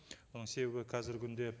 оның себебі қазіргі күнде